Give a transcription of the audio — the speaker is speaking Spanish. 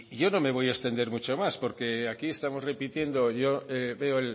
yo no me voy a extender mucho más porque aquí estamos repitiendo yo veo